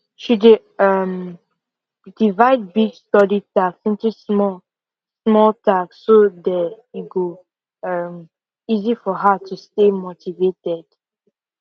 she dey um divide big study task into small small task so day e go um easy for her to stay motivated